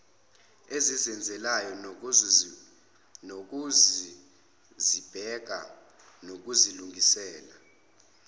ezizenzelayo nezokuzibheka nokuzilungisela